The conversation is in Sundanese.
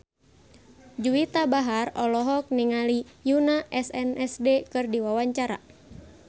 Juwita Bahar olohok ningali Yoona SNSD keur diwawancara